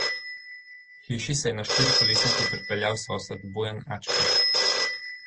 K hiši se je na štirikolesniku pripeljal sosed Bojan Ačko.